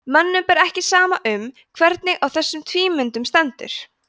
mönnum ber ekki saman um hvernig á þessum tvímyndum stendur